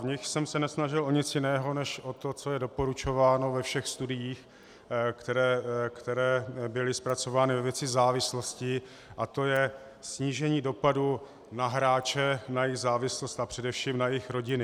V nich jsem se nesnažil o nic jiného než o to, co je doporučováno ve všech studiích, které byly zpracovány ve věci závislosti, a to je snížení dopadu na hráče, na jejich závislost a především na jejich rodiny.